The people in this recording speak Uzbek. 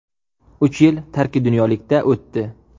Uch yil tarki dunyolikda o‘tdi.